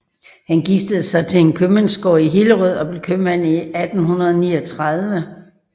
Han giftede sig til en købmandsgård i Hillerød og blev købmand i 1839